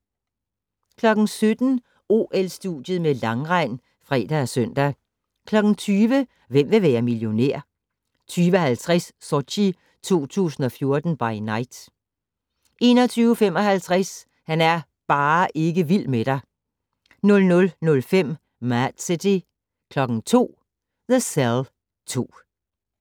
17:00: OL-studiet med langrend (fre og søn) 20:00: Hvem vil være millionær? 20:50: Sochi 2014 by Night 21:55: Han er bare ikke vild med dig 00:05: Mad City 02:00: The Cell 2